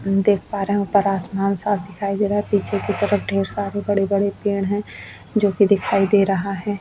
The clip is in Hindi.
हम देख पा रहे है ऊपर आसमान साफ़ दिखाई दे रहा है पीछे की तरफ ढेर सारे बड़े-बड़े पेड़ है जो कि दिखाई दे रहा है।